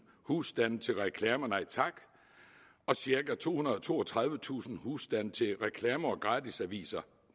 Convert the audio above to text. husstande til reklamer nej tak og cirka tohundrede og toogtredivetusind husstande til reklamer og gratisaviser